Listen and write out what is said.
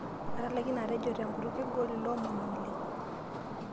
Atalaikine atejo te nkutuk kegol ilo omoni oleng.